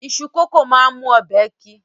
Iṣu kókò máa ń mú ọbẹ̀ ki